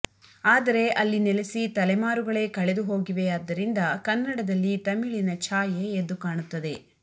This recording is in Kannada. ಆದರೆ ಅಲ್ಲಿ ನೆಲೆಸಿ ತಲೆಮಾರುಗಳೇ ಕಳೆದು ಹೋಗಿವೆಯಾದ್ದರಿಂದ ಕನ್ನಡದಲ್ಲಿ ತಮಿಳಿನ ಛಾಯೆ ಎದ್ದು ಕಾಣುತ್ತದೆ